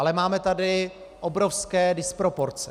Ale máme tady obrovské disproporce.